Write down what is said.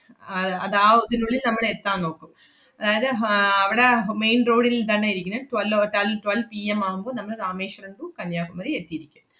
അഹ് അത് ആഹ് ഒ~ ഇതിനുള്ളിൽ നമ്മളെത്താൻ നോക്കും. അതായത് ആഹ് അവടെ അഹ് main road ൽ തന്നെ ഇരിക്കണ് twelve hour റ്റൽ~ twelvePM ആവുമ്പൊ നമ്മള് രാമേശ്വരം to കന്യാകുമരി എത്തിയിരിക്കും.